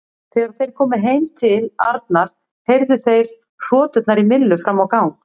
Þegar þeir komu heim til Arnar heyrðu þeir hroturnar í Millu fram á gang.